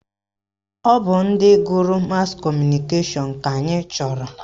Ọ bụ ndị gụrụ mas kọmụnikeshọn ka anyị chọrọ